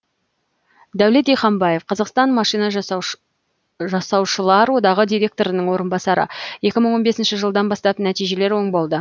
дәулет диханбаев қазақстан машина жасаушылар одағы директорының орынбасары екі мың он бесінші жылдан бастап нәтижелер оң болды